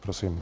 Prosím.